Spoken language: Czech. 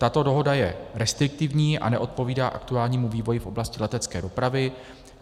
Tato dohoda je restriktivní a neodpovídá aktuálnímu vývoji v oblasti letecké dopravy.